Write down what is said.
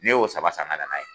Ne y'o saba san ga na n'a ye